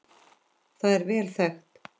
Það er vel þekkt.